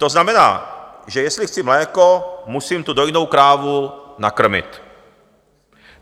To znamená, že jestli chci mléko, musím tu dojnou krávu nakrmit.